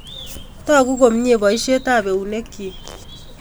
Togu komnye poisyet ap eunek chik